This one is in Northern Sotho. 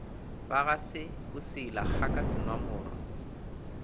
ba ga se boseilakgaka senwamoro